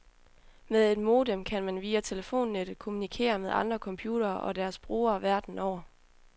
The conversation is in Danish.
Med et modem kan man via telefonnettet kommunikere med andre computere og deres brugere, verden over.